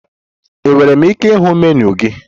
Enwere m ike ịhụ menu gị?